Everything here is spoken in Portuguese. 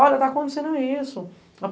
Olha, tá acontecendo isso.